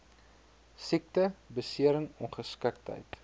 siekte besering ongeskiktheid